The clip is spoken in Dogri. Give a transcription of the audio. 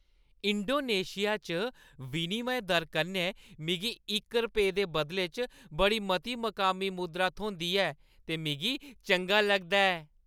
इंडोनेशिया च विनिमय दर कन्नै मिगी इक रपेऽ दे बदले च बड़ी मती मकामी मुद्रा थ्होंदी ऐ ते मिगी चंगा लगदा ऐ।